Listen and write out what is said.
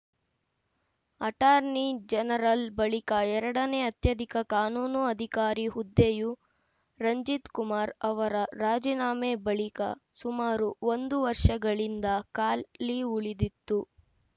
attorney general ಬಳಿಕ ಎರಡನೇ ಅತ್ಯಧಿಕ ಕಾನೂನು ಅಧಿಕಾರಿ ಹುದ್ದೆಯು ರಂಜಿತ್‌ ಕುಮಾರ್‌ ಅವರ ರಾಜೀನಾಮೆ ಬಳಿಕ ಸುಮಾರು ಒಂದು ವರ್ಷಗಳಿಂದ ಖಾಲಿ ಉಳಿದಿತ್ತು